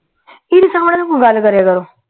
ਏਦੇ ਸਾਮਣੇ ਨ ਕੋਈ ਗੱਲ ਕਰੇਆ ਕਰੋਂ